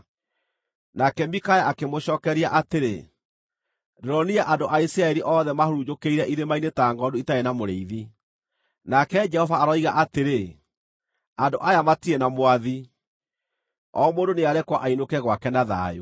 Nake Mikaya akĩmũcookeria atĩrĩ, “Ndĩronire andũ a Isiraeli othe mahurunjũkĩire irĩma-inĩ ta ngʼondu itarĩ na mũrĩithi, nake Jehova aroiga atĩrĩ, ‘Andũ aya matirĩ na mwathi. O mũndũ nĩarekwo ainũke gwake na thayũ.’ ”